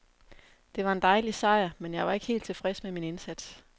Det var en dejlig sejr, men jeg var ikke helt tilfreds med min indsats.